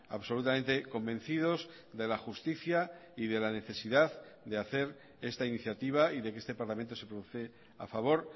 absolutamente convencidos de la justicia y de la necesidad de hacer esta iniciativa y de que este parlamento se produce a favor